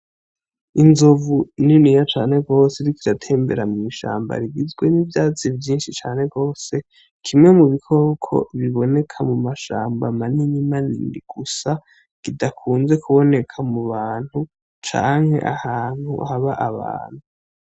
Inzovu niniya cane gose iriko iratembera mu ishamba rigizwe n'ivyatsi vyishi cane gose kimwe mu bikoko biboneka mu mashamba manini gusa kidakunze kuboneka mu bantu canke ahantu haba abantu.